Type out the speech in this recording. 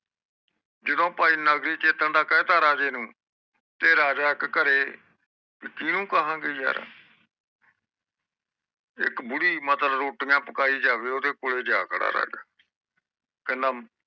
ਜਦੋ ਭਾਈ ਨਗਰੀ ਚੇਤਨ ਦਾ ਕਹਿਤਾ ਰਾਜੇ ਨੂੰ ਤੇ ਰੱਜੇ ਇਕ ਘਰੇ ਕੀਨੁ ਕਹਾ ਗਏ ਯਾਰ ਇਕ ਬੁੜ ਰੋਟੀਆਂ ਪਕਾਈ ਜਾਵੇ ਰਾਜਾ ਓਹਦੇ ਕੋਲ ਜਾਵੇ ਕਹਿੰਦਾ